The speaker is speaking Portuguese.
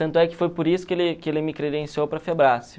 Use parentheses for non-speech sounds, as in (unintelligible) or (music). Tanto é que foi por isso que ele que ele me credenciou para a (unintelligible)